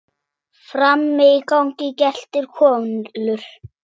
Frammi í gangi geltir Kolur.